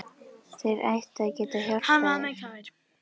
Þeir ættu að geta hjálpað þér.